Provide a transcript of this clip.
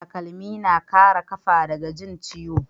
Takalmi na Kara kafa daga Jin ciwo